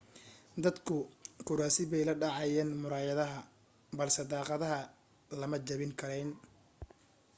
dadku kuraasi bay la dhacayeen muraayadaha balse daaqadaha lama jabin karayn